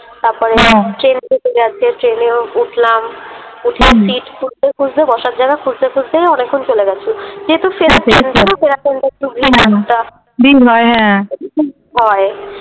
তারপরে ট্রেন ঢুকে গেছে, ট্রেনেও উঠলাম সিট খুঁজতে খুঁজতে, বসার জায়গা খুঁজতে খুঁজতে অনেকক্ষন চলে গেছে যেহেতু ভিড় হয় হ্যাঁ হয়।